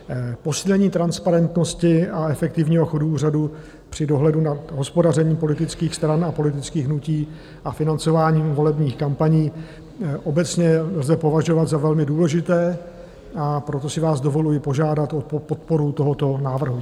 Posílení transparentnosti a efektivního chodu úřadu při dohledu nad hospodařením politických stran a politických hnutí a financování volebních kampaní obecně lze považovat za velmi důležité, a proto si vás dovoluji požádat o podporu tohoto návrhu.